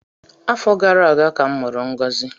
Afọ gara aga ka a mụrụ ngozi